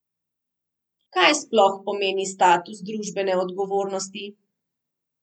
Kaj sploh pomeni status družbene odgovornosti?